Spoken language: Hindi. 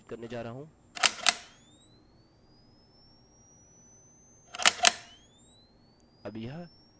अंदर हमारे पास वर्ष के लिए y है महीने के लिए m है और दिनाँक के लिए d है